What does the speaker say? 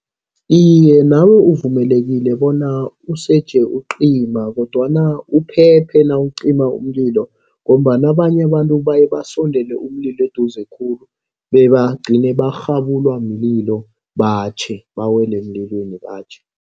Iye nabo uvumelekile bona useje ucima kodwana uphephe nawucima umlilo ngombana abanye abantu baye basondele umlilo eduze khulu. Bebagcine barhabulwa mlilo batjhe, bawele emlilweni batjhe.